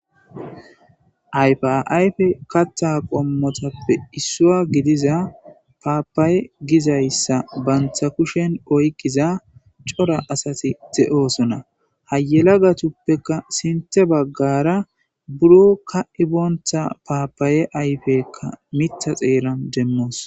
Ayfe ayifida katta qommotuppe issuwa gidiza paapaya gizay issa banta kushen oyqqiza cora asati de'oosona. Ha yelagatuppeka sinte baggara biron ka'ibena paapaye ayfeekka mitha xeeran demmoos.